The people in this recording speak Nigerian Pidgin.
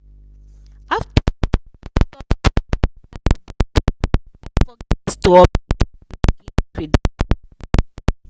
after i install the mobile banking app i forget to update my login credentials.